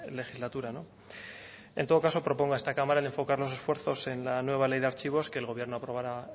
legislatura en todo caso propongo a esta cámara el enfocar los esfuerzos en la nueva ley de archivos que el gobierno aprobará